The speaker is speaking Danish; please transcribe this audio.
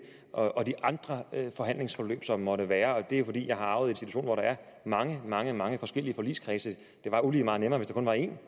og de andre forhandlingsforløb som der måtte være og det er fordi jeg har arvet en institution hvor der er mange mange mange forskellige forligskredse det var ulige meget nemmere hvis der kun var en